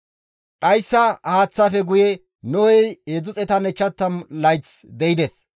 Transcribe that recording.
Dhayssa haaththafe guye Nohey 350 layth de7ides.